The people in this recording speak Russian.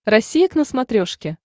россия к на смотрешке